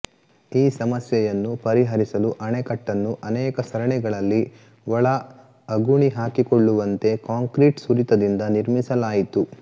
ಈ ಸಮಸ್ಯೆಯನ್ನು ಪರಿಹರಿಸಲು ಅಣೆಕಟ್ಟನ್ನು ಅನೇಕ ಸರಣಿಗಳಲ್ಲಿ ಒಳ ಅಗುಣಿ ಹಾಕಿಕೊಳ್ಳುವಂತೆ ಕಾಂಕ್ರೀಟ್ ಸುರಿತದಿಂದ ನಿರ್ಮಿಸಲಾಯಿತು